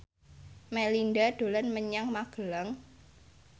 Melinda dolan menyang Magelang